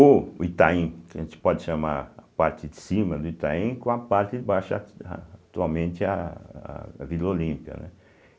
ou o Itaim, que a gente pode chamar a parte de cima do Itaim com a parte de baixo ah atualmente a Vila Olímpia, né.